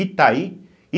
Itaí.